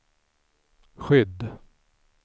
skydd